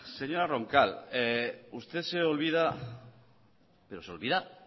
señora roncal usted se olvida pero se olvida